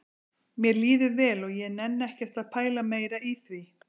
Mér líður vel og ég nenni ekkert að pæla meira í því